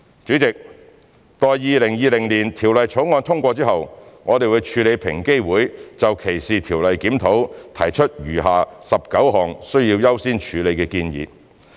主席，待《條例草案》通過後，我們會處理平機會就歧視條例檢討提出的餘下19項需要優先處理的建議。